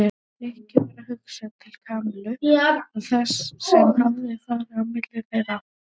Nikka varð hugsað til Kamillu og þess sem hafði farið á milli þeirra.